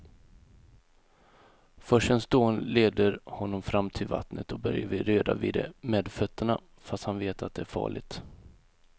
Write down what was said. Forsens dån leder honom fram till vattnet och Börje vill röra vid det med fötterna, fast han vet att det är farligt.